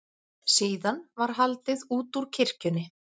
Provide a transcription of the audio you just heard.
Síðan var haldið útúr kirkjunni.